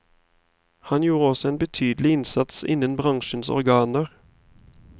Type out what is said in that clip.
Han gjorde også en betydelig innsats innen bransjens organer.